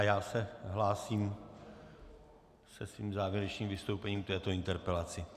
A já se hlásím se svým závěrečným vystoupením k této interpelaci.